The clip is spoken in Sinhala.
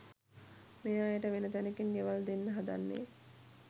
මේ අයට වෙන තැනකින් ගෙවල් දෙන්න හදන්නේ.